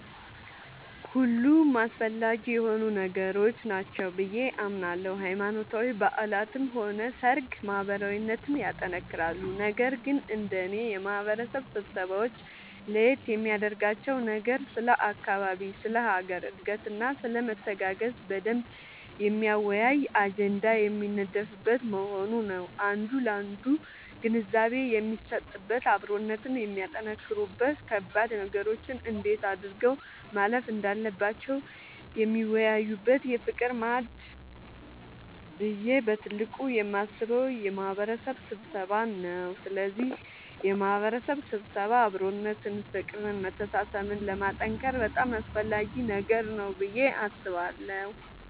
ሁሉም አስፈላጊ የሆኑ ነገሮች ናቸው ብዬ አምናለሁ ሃይማኖታዊ በዓላትም ሆነ ሰርግ ማህበራዊነትን ያጠነክራሉ ነገር ግን እንደኔ የማህበረሰብ ስብሰባወች ለየት የሚያደርጋቸው ነገር ስለ አካባቢ ስለ ሀገር እድገትና ስለመተጋገዝ በደንብ የሚያወያይ አጀንዳ የሚነደፍበት መሆኑ ነዉ አንዱ ላንዱ ግንዛቤ የሚሰጥበት አብሮነትን የሚያጠነክሩበት ከባድ ነገሮችን እንዴት አድርገው ማለፍ እንዳለባቸው የሚወያዩበት የፍቅር ማዕድ ብዬ በትልቁ የማስበው የማህበረሰብ ስብሰባን ነዉ ስለዚህ የማህበረሰብ ስብሰባ አብሮነትን ፍቅርን መተሳሰብን ለማጠንከር በጣም አስፈላጊ ነገር ነዉ ብዬ አስባለሁ።